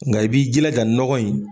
Nka i b'i jilaja nɔgɔ in.